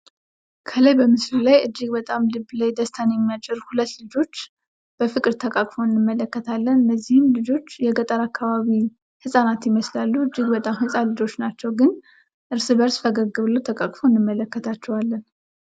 ከላይ በምስሉ ላይ አጅግ በጣም ልብ ላይ ደስታን በሚያጭር ሁለት ልጆች በፍቅር ተቃቅፈዉ እንመለከታለን። እነዚህም ልጆች የገጠር አካባቢ ህፃናት ይመስላሉ። እጅግ በጣም ህፃናት ልጀሸች ናቸዉ። ግን እርስ በርስ ፈገግ ብለዉ ተቄቅፈዉ እንመለከታለን።